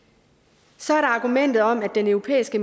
så er der argumentet om at den europæiske